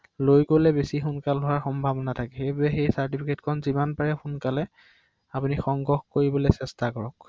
হয়